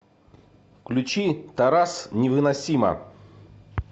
включи тарас невыносима